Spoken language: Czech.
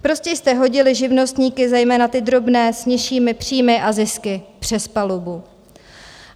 Prostě jste hodili živnostníky, zejména ty drobné s nižšími příjmy a zisky, přes palubu.